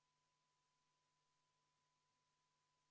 Tulemusega poolt 1, vastu 58 ja erapooletuid 1, ei leidnud ettepanek toetust.